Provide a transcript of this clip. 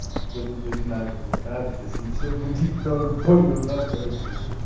дадут одинаковый адрес и все будет норм понял да короче